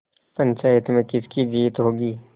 पंचायत में किसकी जीत होगी